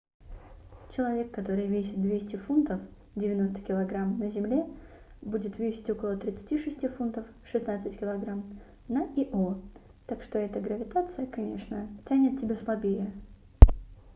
человек который весит 200 фунтов 90 кг на земле будет весить около 36 фунтов 16 кг на ио. так что эта гравитация конечно тянет тебя слабее